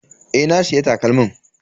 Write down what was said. Eh, na siya takalmin.